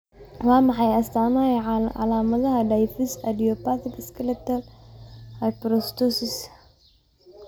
Waa maxay astaamaha iyo calaamadaha Diffuse idiopathic skeletal hyperostosis?